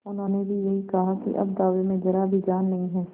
उन्होंने भी यही कहा कि अब दावे में जरा भी जान नहीं है